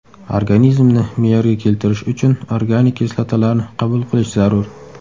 Organizmni me’yorga keltirish uchun organik kislotalarni qabul qilish zarur.